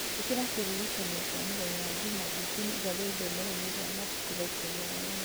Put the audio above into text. ĩkĩra kĩririkania kĩa mũthenya wa njuma njũku nĩngathiĩ ithomero-inĩ rĩa mabuku thaa ikũmi na ĩmwe